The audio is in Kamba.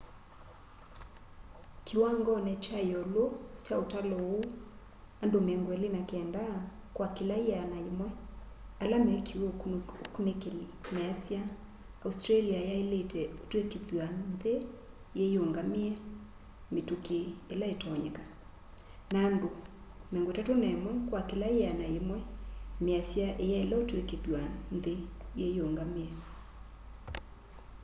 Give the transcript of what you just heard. kiwangoni kya iũlu kya ũtalo ũu andu 29 kwa kila 100 ala mekiwe ukũnikili measya australia yailite ũtwikithya nthi yiyungamie mitũki ila itonyeka na andũ 31 kwa kila 100 measya iyaile kutwika nthi yiyũngamie